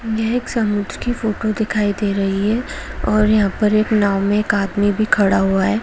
यह एक समुद्र की फोटो दिखाई दे रही है और यहाँ पर एक नाव में एक आदमी भी खड़ा हुआ है।